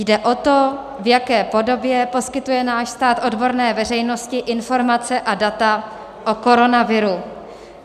Jde o to, v jaké podobě poskytuje náš stát odborné veřejnosti informace a data o koronaviru.